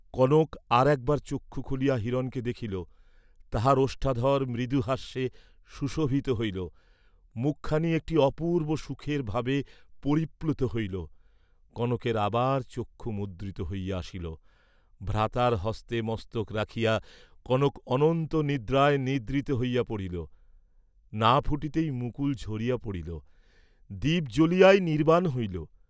কনক আর একবার চক্ষু খুলিয়া হিরণকে দেখিল, তাহার ওষ্ঠাধর মৃদু হাস্যে সুশোভিত হইল, মুখখানি একটি অপূর্ব্ব সুখের ভাবে পরিপ্লুত হইল, কনকের আবার চক্ষু মুদ্রিত হইয়া আসিল, ভ্রাতার হস্তে মস্তক রাখিয়া কনক অনন্ত নিদ্রায় নিদ্রিত হইয়া পড়িল, না ফুটিতেই মুকুল ঝরিয়া পড়িল, দীপ জ্বলিয়াই নির্ব্বাণ হইল।